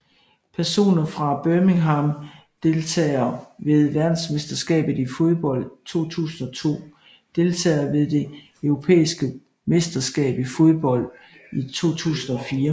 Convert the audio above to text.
Personer fra Birmingham Deltagere ved verdensmesterskabet i fodbold 2002 Deltagere ved det europæiske mesterskab i fodbold 2004